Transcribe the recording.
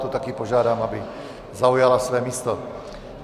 Tu taky požádám, aby zaujala své místo.